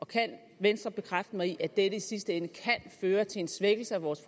kan venstre bekræfte mig i at dette i sidste ende kan føre til en svækkelse af vores